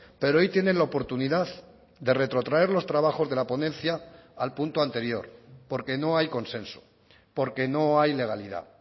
pero hoy tienen la oportunidad de retrotraer los trabajos de la ponencia al punto anterior porque no hay consenso porque no hay legalidad